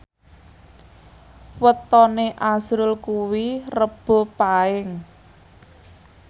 wetone azrul kuwi Rebo Paing